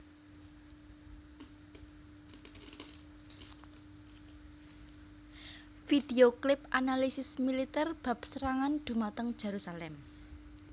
Video Clip Analisis Militer bab serangan dhumateng Jerusalem